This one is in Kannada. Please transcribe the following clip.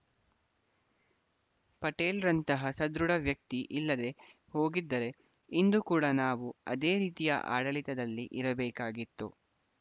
ಪಟೇಲ್‌ರಂತಹ ಸದೃಢ ವ್ಯಕ್ತಿ ಇಲ್ಲದೇ ಹೋಗಿದ್ದರೆ ಇಂದು ಕೂಡ ನಾವು ಅದೇ ರೀತಿಯ ಆಡಳಿತದಲ್ಲಿ ಇರಬೇಕಾಗಿತ್ತು